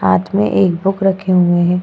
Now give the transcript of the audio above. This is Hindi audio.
हाथ में एक बुक रखे हुए हैं।